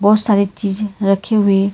बहोत सारी चीजे रखे हुए--